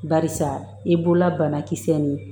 Barisa i bolola banakisɛ nin